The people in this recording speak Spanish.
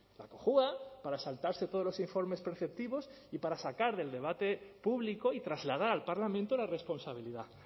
la cojua para saltarse todos los informes preceptivos y para sacar del debate público y trasladar al parlamento la responsabilidad